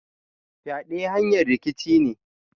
Fyade hanyar rikici ne.